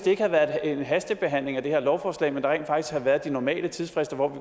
ikke havde været en hastebehandling af det her lovforslag men rent faktisk havde været de normale tidsfrister hvor vi